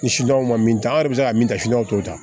Ni sidaw ma min ta an yɛrɛ bɛ se ka min ta t'o ta